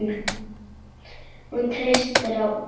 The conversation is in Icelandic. Hún treysti á bak sitt.